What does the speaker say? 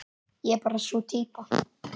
Ég er bara sú týpa.